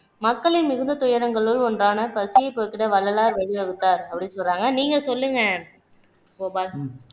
மக்களின் மிகுந்த துயரங்களுள் ஒன்றான பசியை போக்கிட வள்ளலார் வழி வகுத்தார் அப்படின்னு சொல்றாங்க நீங்க சொல்லுங்க கோபால்